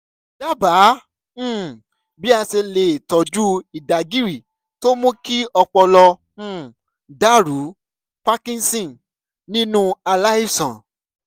dábàá um bí a ṣe lè tọ́jú ìdágìrì tó mú kí ọpọlọ um dàrú (parkinson) nínú aláìsàn